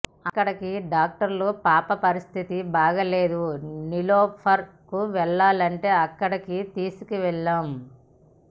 అక్కడి డాక్టర్లుపాప పరిస్థతి బాగాలేదు నిలోఫర్ కువెళ్లాలంటే అక్కడికి తీసుకెళ్లాం